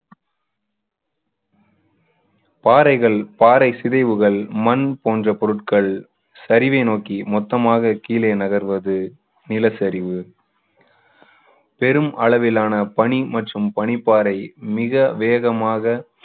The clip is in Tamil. பாறைகள் பாறை சிதைவுகள் மண் போன்ற பொருட்கள் சரிவை நோக்கி மொத்தமாக கீழே நகர்வது நிலசரிவு அளவிலான பனி மற்றும் பனிப்பாறை மிக வேகமாக